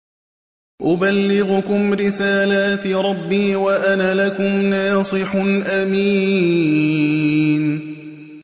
أُبَلِّغُكُمْ رِسَالَاتِ رَبِّي وَأَنَا لَكُمْ نَاصِحٌ أَمِينٌ